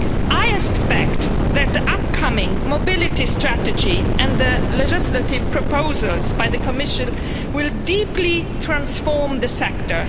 I expect that the upcoming Mobility Strategy and the legislative proposals by the Commission will deeply transform the sector.